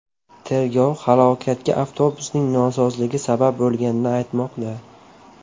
Tergov halokatga avtobusning nosozligi sabab bo‘lganini aytmoqda.